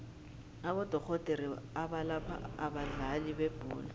abodorhodere abalapha abadlali bebholo